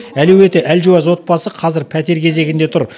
әлеуеті әлжуаз отбасы қазір пәтер кезегінде тұр